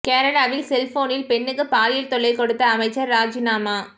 கேரளாவில் செல்போனில் பெண்ணுக்கு பாலியல் தொல்லை கொடுத்த அமைச்சர் ராஜினாமா